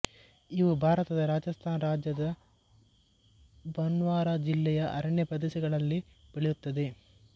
ಇವು ಭಾರತದ ರಾಜಸ್ಥಾನ್ ರಾಜ್ಯದ ಬನ್ಸ್ವಾರಾ ಜಿಲ್ಲೆಯ ಅರಣ್ಯ ಪ್ರದೇಶಗಳಲ್ಲಿ ಬೆಳೆಯುತ್ತದೆ